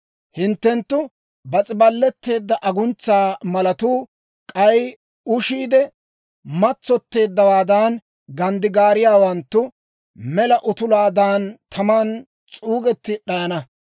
Hinttenttu, bas's'ibaletteedda aguntsa malatuu, k'ay ushiide matsotteeddawaadan ganddigaariyaawanttuu, mela utulaadan taman s'uugetti d'ayana.